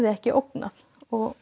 ekki ógnað og